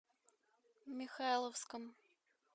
михайловском